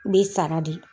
Bɛ sara de